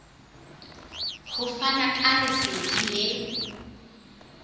ho fana ka lesedi le